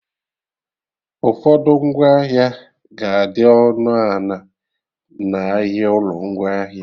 Ụfọdụ ngwaahịa ga-adị ọnụ a na- n'ahịa ụlọ ngwaahịa